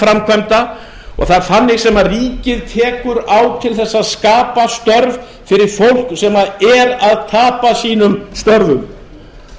framkvæmda og það er þannig sem ríkið tekur á til þess að skapa störf fyrir fólk sem er að tapa sínum störfum